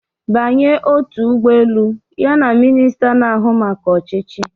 Banye otu ụgbọ elu ya na minista na-ahụ maka ọchịchị